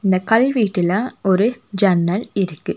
இந்த கல் வீட்டுல ஒரு ஜன்னல் இருக்கு.